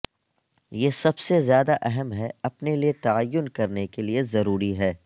یہ سب سے زیادہ اہم ہے اپنے لئے تعین کرنے کے لئے ضروری ہے